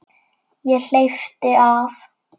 Ég hleypti af.